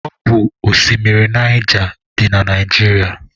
Ọ bụ oshimiri Naija dị na Naijiria.